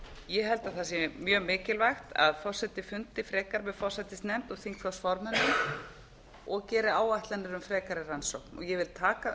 ég held að það sé mjög mikilvægt að forseti fundi frekar með forsætisnefnd og þingflokksformönnum og geri áætlanir um frekari rannsókn ég vil taka